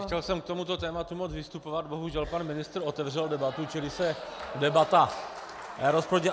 Nechtěl jsem k tomuto tématu moc vystupovat, bohužel pan ministr otevřel debatu, čili se debata rozproudila.